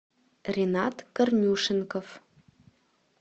ринат корнюшенков